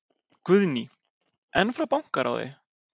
Guðný: En frá bankaráði?